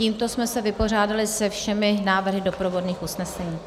Tímto jsme se vypořádali se všemi návrhy doprovodných usnesení.